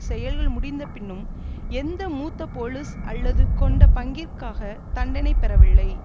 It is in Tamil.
செயல்கள் முடிந்தபின்னும் எந்த மூத்த போலிஸ் அல்லது கொண்ட பங்கிற்காக தண்டனை பெறவில்லை